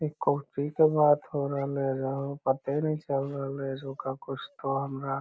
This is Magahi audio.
इ कौची के बात हो रहले है हमरा कुछ पते नाय चल रहले है का जोका कुछ तो हमरा --